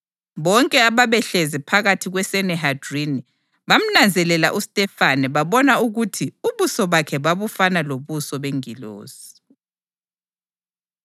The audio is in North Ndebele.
Bonke ababehlezi phakathi kweSanihedrini bamnanzelela uStefane babona ukuthi ubuso bakhe babufana lobuso bengilosi.